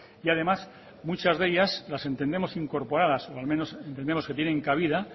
y además muchas de ellas las entendemos incorporadas o al menos entendemos que tienen cabida